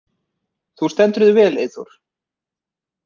Þú stendur þig vel, Eyþór!